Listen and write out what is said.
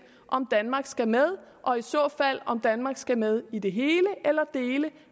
om danmark skal med og i så fald om danmark skal med i det hele eller i dele